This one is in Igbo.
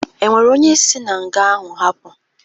E nwere onye si na nga ahụ hapụ?